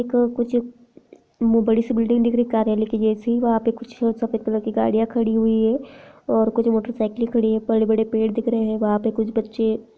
एक बड़ीसी बिल्डिंग दिख रही है कार्यालय की जैसी वहां पे कुछ सफ़ेद कलर की गाड़ियाँ खड़ी हुई है और कुछ मोटरसाइकिल खड़ी है पेड़ बड़े पड़े दिख रहै है वह पे कुछ बच्चे--